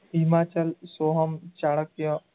Himachal, Soham, Chanakya,